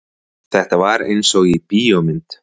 Þetta var einsog í bíómynd.